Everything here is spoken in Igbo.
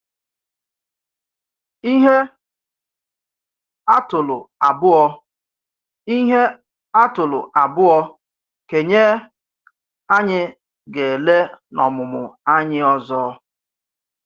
Ĩhé atụ́lù abụọ̀ Ĩhé atụ́lù abụọ̀ kènyé anyị gà-ele n’ọmụmụ anyị ọzọ?